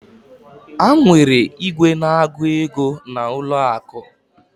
Ha nwere igwe na agu ego na ụlọ akụ.